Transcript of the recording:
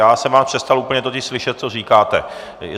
Já jsem vás přestal úplně totiž slyšet, co říkáte.